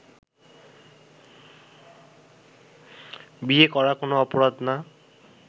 বিয়ে করা কোনো অপরাধ না